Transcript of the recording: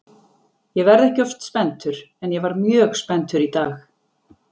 Ég verð ekki oft spenntur en ég var mjög spenntur í dag.